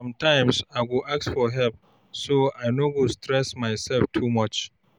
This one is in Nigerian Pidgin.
Sometimes, I go ask for help so I no go stress myself too much.